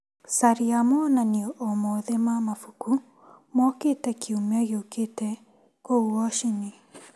Caria monanio o mothe ma mabuku mokĩte kiumia gĩũkĩte kũu Woshini.